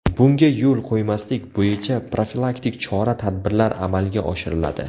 Bunga yo‘l qo‘ymaslik bo‘yicha profilaktik chora-tadbirlar amalga oshiriladi.